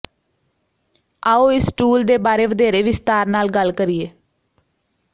ਆਓ ਇਸ ਟੂਲ ਦੇ ਬਾਰੇ ਵਧੇਰੇ ਵਿਸਤਾਰ ਨਾਲ ਗੱਲ ਕਰੀਏ